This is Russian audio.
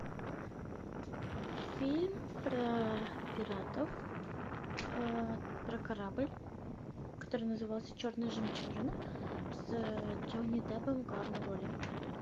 фильм про пиратов про корабль который назывался черная жемчужина с джонни деппом в главной роли